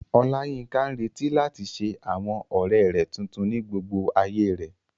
Oláyínká ń retí láti ṣe àwọn ọ̀rẹ́ tuntun ní gbogbo ayé rẹ̀